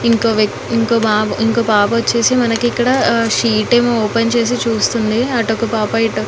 ఇంకో వక్తి ఇంకో బాబు ఇంకో పాప వచ్చేసి మనకు ఇక్కడ ఆహ్ షీట్ ఏమో ఓపెన్ చేసి చూస్తుంది అటోకా పాపా ఇ --